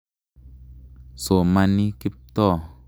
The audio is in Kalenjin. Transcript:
Somani Kiptoo.